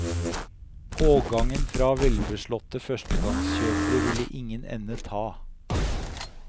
Pågangen fra velbeslåtte førstegangskjøpere ville ingen ende ta.